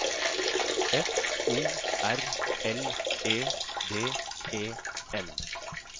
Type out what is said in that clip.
F O R L E D E N